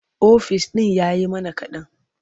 Ofis ɗin ya yi mana kaɗan.